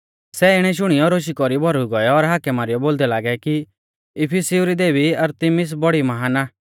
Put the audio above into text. सै इणै शुणियौ रोशा कौरी भौरुई गौऐ और हाकै मारीयौ बोलदै लागै कि इफिसिउ री देबी अरतिमिस बौड़ी महान आ